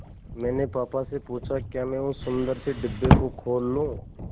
मैंने पापा से पूछा क्या मैं उस सुंदर से डिब्बे को खोल लूँ